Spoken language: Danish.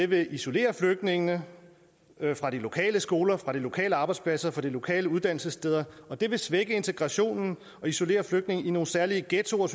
vil isolere flygtningene fra de lokale skoler fra de lokale arbejdspladser fra de lokale uddannelsessteder og det vil svække integrationen og isolere flygtningene i nogle særlige ghettoer